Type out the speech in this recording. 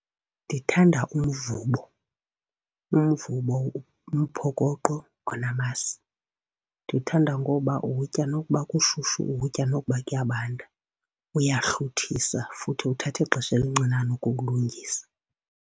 Ndithanda umvubo, umvubo, umphokoqo onamasi. Ndiwuthanda ngoba uwutya nokuba kushushu, uwutya nokuba kuyabanda, uyahluthisa futhi uthatha ixesha elincinane ukukulungisa.